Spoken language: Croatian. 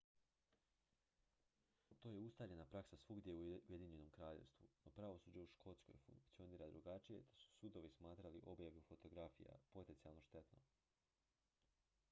to je ustaljena praksa svuda u ujedinjenom kraljevstvu no pravosuđe u škotskoj funkcionira drugačije te su sudovi smatrali objavu fotografija potencijalno štetnom